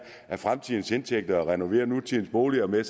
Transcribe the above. af fremtidens indtægter og renoverer nutidens boliger med